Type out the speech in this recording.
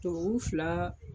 Tubabu fila